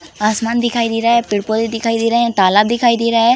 आसमान दिखाई दे रहा है पेड़-पौधे दिखाई दे रहे हैं तालाब दिखाई दे रहा है।